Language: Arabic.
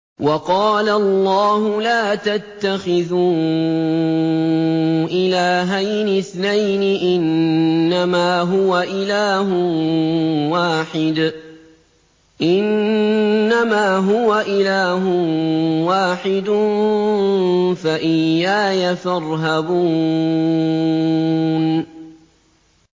۞ وَقَالَ اللَّهُ لَا تَتَّخِذُوا إِلَٰهَيْنِ اثْنَيْنِ ۖ إِنَّمَا هُوَ إِلَٰهٌ وَاحِدٌ ۖ فَإِيَّايَ فَارْهَبُونِ